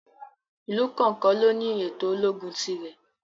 Ìlú kọ̀ọ̀kan ló ní ètò ológun ti rẹ̀.